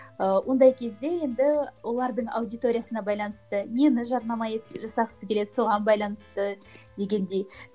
ы ондай кезде енді олардың аудиториясына байланысты нені жарнама жасағысы келеді соған байланысты дегендей